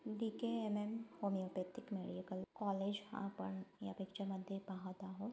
DKMM homeopathic medical college आपण या picture मध्ये पाहत आहोत.